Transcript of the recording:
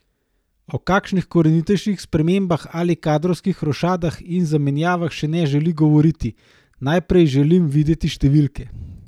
O kakšnih korenitejših spremembah ali kadrovskih rošadah in zamenjavah še ne želi govoriti: "Najprej želim videti številke.